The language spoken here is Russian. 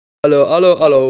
алло алло алло